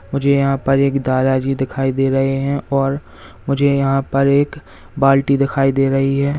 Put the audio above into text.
मुझे यहां पर एक दादा जी दिखाई दे रहे हैं और मुझे यहां पर एक बाल्टी दिखाई दे रही हैं।